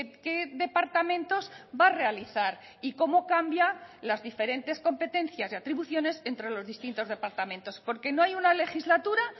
qué departamentos va a realizar y cómo cambia las diferentes competencias y atribuciones entre los distintos departamentos porque no hay una legislatura